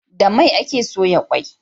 Da mai ake soya kwai